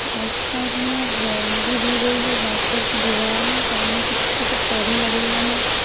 Right side में boundary दी गई है वाइट कलर की दीवार है साइड में कुछ छोटे पौधे लगे हुए हैं।